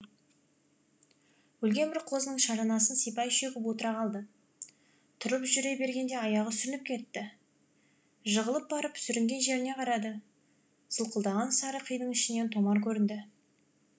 өлген бір қозының шаранасын сипай шөгіп отыра қалды тұрып жүре бергенде аяғы сүрініп кетті жығылып барып сүрінген жеріне қарады сылқылдаған сары қидың ішінен томар көрінді